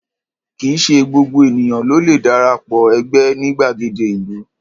Kì í ṣe gbogbo ènìyàn ló le dara pọ̀ ẹgbẹ́ ní gbàgede ìlú.